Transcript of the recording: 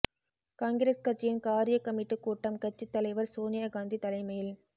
காங்கிரஸ் கட்சியின் காரியக் கமிட்டிக் கூட்டம் கட்சித் தலைவர் சோனியா காந்தி தலைமையில்